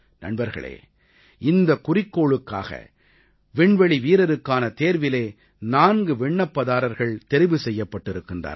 நண்பர்களே இந்தக் குறிக்கோளுக்காக விண்வெளிவீரருக்கான தேர்விலே 4 விண்ணப்பதாரர்கள் தெரிவு செய்யப்பட்டிருக்கின்றார்கள்